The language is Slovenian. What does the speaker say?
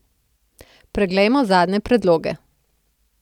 Preglejmo zadnje predloge.